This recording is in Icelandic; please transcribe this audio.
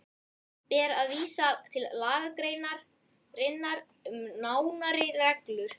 Ber að vísa til lagagreinarinnar um nánari reglur.